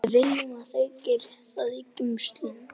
Við viljum að þau geri það í geymslunum.